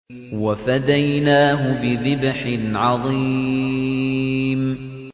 وَفَدَيْنَاهُ بِذِبْحٍ عَظِيمٍ